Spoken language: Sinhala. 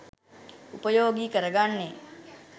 උපයෝගි කරගන්නේ